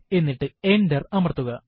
എന്നിട്ട് എന്റര് അമർത്തുക